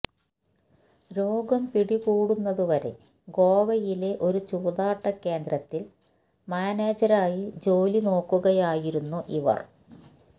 രോഗം പിടി കൂടുന്നതുവരെ ഗോവയിലെ ഒരു ചൂതാട്ടകേന്ദ്രത്തില് മാനേജരായി ജോലി നോക്കുകയായിരുന്നു ഇവര്